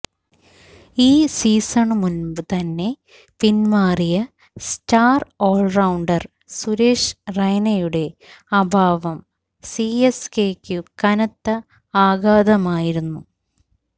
ഈ സീസണിനു മുമ്പ് തന്നെ പിന്മാറിയ സ്റ്റാര് ഓള്റൌണ്ടര് സുരേഷ് റെയ്നയുടെ അഭാവം സിഎസ്കെയ്ക്കു കനത്ത ആഘാതമായിരുന്നു